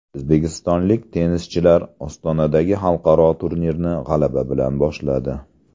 O‘zbekistonlik tennischilar Ostonadagi xalqaro turnirni g‘alaba bilan boshladi.